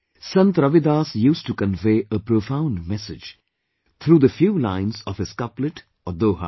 Sant Ravidas used to convey a profound message through the few lines of his couplet or 'doha